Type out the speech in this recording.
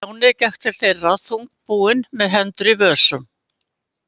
Stjáni gekk til þeirra þungbúinn með hendur í vösum.